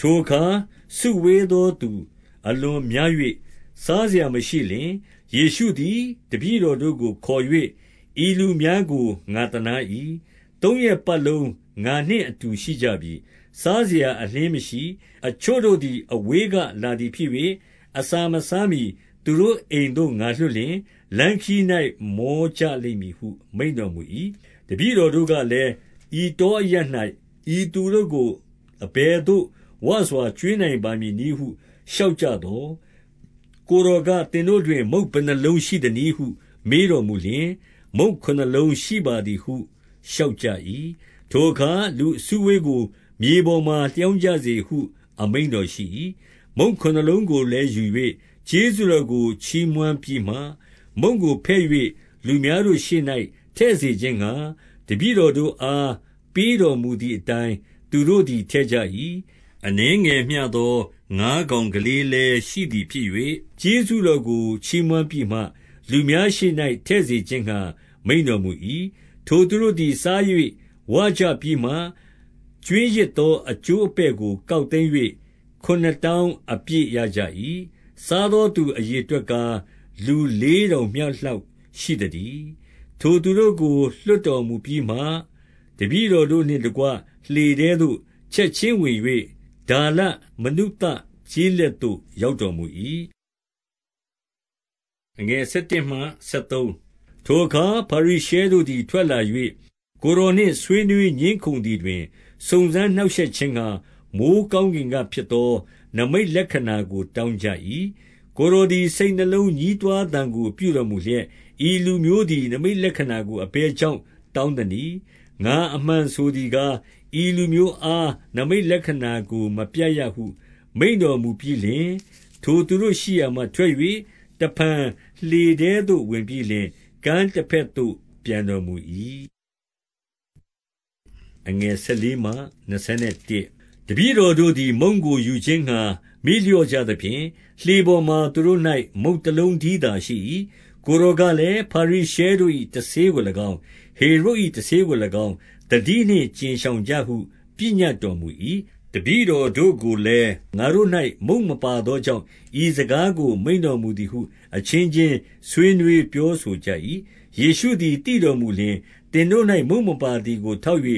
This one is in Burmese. ထိုအခါ စုဝေးသောသူအလွန်များ၍ စားစရာမရှိလျှင်၊ ယေရှုသည် တပည့်တော်တို့ကို ခေါ်၍၊ 2 ဤလူများကို ငါသနား၏။ သုံးရက်ပတ်လုံး ငါနှင့်အတူ ရှိကြပြီ။ စားစရာအလျှင်းမရှိ။ 3 အချို့တို့သည် အဝေးကလာသည်ဖြစ်၍၊ အစာမစားမှီ သူတို့အိမ်သို့ ငါလွှတ်လျှင် လမ်းခရီး၌ မောကြ လိမ့်မည်ဟု မိန့်တော်မူ၏။ 4 တပည့်တော်တို့ကလည်း၊ ဤတောအရပ်၌ ဤသူတို့ကို အဘယ်သို့ ဝစွာကျွေးနိုင်မည်နည်းဟု လျှောက်ကြသော်၊ 5 ကိုယ်တော်က၊ သင်တို့တွင် မုန့်ဘယ်နှစ်လုံး ရှိပါသနည်းဟု မေးတော်မူလျှင်၊ မုန့်ခုနှစ်လုံးရှိပါသည်ဟု လျှောက်ကြ၏။ 6 ထိုအခါ လူအစုအဝေးကို မြေပေါ်မှာလျောင်းကြစေဟု အမိန့်တော်ရှိ၏။ မုန့်ခုနစ်လုံးကိုလည်း ယူ၍ ကျေးဇူးတော်ကို ချီးမွမ်းပြီးမှ မုန့်ကိုဖဲ့၍ လူများတို့ရှေ့၌ ထည့်စေခြင်းငှါ တပည့်တော်တို့အား ပေးတော်မူသည် အတိုင်း သူတို့သည် ထည့်ကြ၏။ 7 အနည်းငယ်မျှသော ငါးကောင်ကလေးလည်း ရှိသည်ဖြစ်၍၊ ကျေးဇူးတော်ကို ချီးမွမ်းပြီးမှ လူများရှေ့၌ ထည့်စေခြင်းငှါ မိန့်တော်မူ၏။ 8 ထိုသူတို့သည် စား၍ ဝကြပြီးမှ ကြွင်းရစ်သောအကျိုးအပဲ့ကို ကောက်သိမ်း၍ ခုနစ်တောင်းအပြည့် ရကြ၏။ 9 စားသောသူအရေအတွက်ကား၊ လူလေးထောင် မျှလောက် ရှိသတည်း။ ထိုသူတို့ကို လွှတ်တော်မူပြီးမှ၊ 10 တပည့်တော်တို့နှင့်တကွ လှေထဲသို့ ချက်ခြင်းဝင်၍၊ ဒါလမနုသကျေးလက်သို့ ရောက်တော်မူ၏။ 11 ထိုအခါ ဖာရိရှဲတို့သည် ထွက်လာ၍ ကိုယ်တော်နှင့် ဆွေးနွေးငြင်းခုံသည်တွင် စုံစမ်းနှောင့်ရှက်ခြင်းငှါ၊ မိုဃ်းကောင်းကင်ကဖြစ်သော နိမိတ်လက္ခဏာကို တောင်းကြ၏။ 12 ကိုယ်တော်သည် စိတ်နှလုံးညည်းတွားသံကို ပြုတော်မူလျက်၊ ဤလူမျိုးသည် နိမိတ်လက္ခဏာကို မပြရ ဟု မိန့်တော်မူပြီးလျှင်၊ 13 ထိုသူတို့ ရှိရာမှထွက်၍ တဖန် လှေထဲသို့ ဝင်ပြီးလျှင် ကမ်းတဘက်သို့ ပြန်တော်မူ၏။ 14 တပည့်တော်တို့သည် မုန့်ကိုယူခြင်းငှါ မေ့လျော့ကြသဖြင့်၊ လှေပေါ်မှာ သူတို့၌ မုန့်တလုံးတည်းသာ ရှိ ၏။ 15 ကိုယ်တော်ကလည်း၊ ဖာရိရှဲတို့၏တဆေးကို၎င်း၊ ဟေရုဒ်၏တဆေးကို၎င်း၊ သတိနှင့် ကြဉ်ရှောင်ကြဟု ပညတ်တော်မူ၏။ 16 တပည့်တော်တို့ကိုလည်း၊ ငါတို့၌ မုန့်မပါသောကြောင့် ဤစကားကို မိန့်တော်မူသည်ဟု အချင်းချင်း ဆွေးနွေးပြောဆိုကြ၏။ 17 ယေရှုသည် သိတော်မူလျှင်၊ သင်တို့၌ မုန့်မပါသည်ကိုထောက်၍